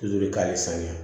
saniya